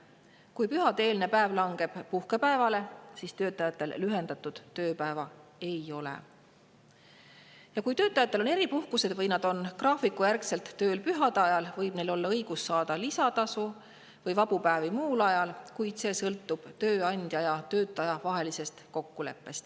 Kui pühade-eelne päev langeb puhkepäevale, siis töötajatel lühendatud tööpäeva ei ole, ja kui töötajatel on eripuhkused või kui nad on graafikujärgselt pühade ajal tööl, võib neil olla õigus saada lisatasu või vabu päevi muul ajal, kuid see sõltub tööandja ja töötaja vahelisest kokkuleppest.